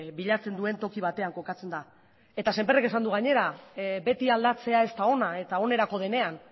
bilatzen duen toki batean kokatzen da eta semper ek esan du gainera beti aldatzea ez da ona eta onerako denean